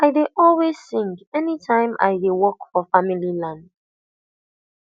i dey always sing anytime i dey work for family land